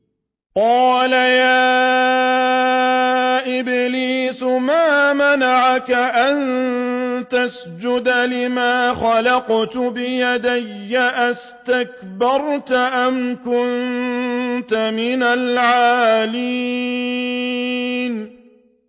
قَالَ يَا إِبْلِيسُ مَا مَنَعَكَ أَن تَسْجُدَ لِمَا خَلَقْتُ بِيَدَيَّ ۖ أَسْتَكْبَرْتَ أَمْ كُنتَ مِنَ الْعَالِينَ